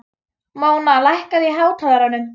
Móna, lækkaðu í hátalaranum.